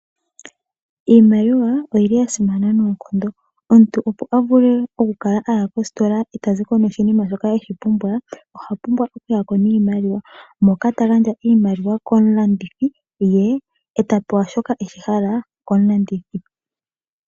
Iimaliwa oyili yasimana noonkondo, omuntu opo a vule okukala aya kostola eta zi ko noshinima shoka apumbwa, oha pumbwa okuya ko niimaliwa moka ta gandja iimaliwa komulandithi ye ta pewa shoka eshihala komulandithi.